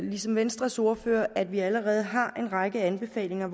ligesom venstres ordfører at vi allerede har en række anbefalinger af